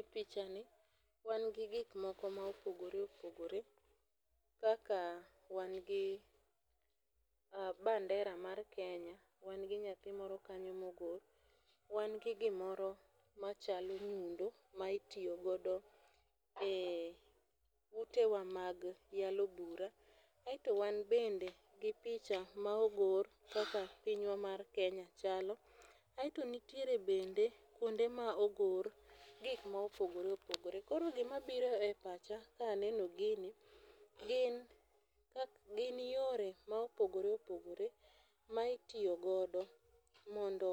E pichani wan gi gik moko ma opogore opogore. Kaka wan gi bandera mar Kenya. Wan gi nyathimoro kanyo mogor. Wan gi gimoro machalo nyundo ma itiyogodo e ute wa mag yalo bura. Aeto wan bende gi picha ma ogor kaka piny wa mar Kenya chalo. Aeto nitiere bende kuonde ma ogor gik ma opogore opogore. Koro gima biro e pacha ka aneno gini gin yore ma opogore opogore ma itiyogodo mondo